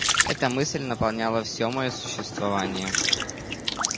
эта мысль наполняла все моё существование